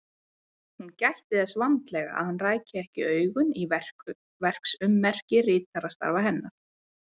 Hún gætti þess vandlega að hann ræki ekki augun í verksummerki ritstarfa hennar.